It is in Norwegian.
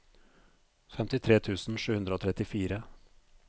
femtitre tusen sju hundre og trettifire